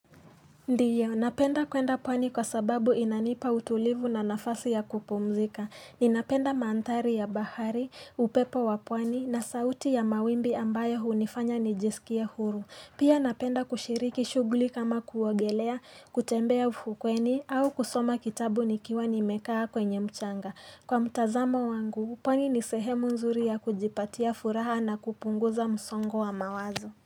Ndiyo, napenda kwenda pwani kwa sababu inanipa utulivu na nafasi ya kupumzika Ninapenda mandhari ya bahari, upepo wa pwani na sauti ya mawimbi ambayo hunifanya nijisikie huru Pia napenda kushiriki shuguli kama kuogelea, kutembea ufukweni au kusoma kitabu nikiwa nimekaa kwenye mchanga Kwa mtazamo wangu, pwani ni sehemu nzuri ya kujipatia furaha na kupunguza msongo wa mawazo.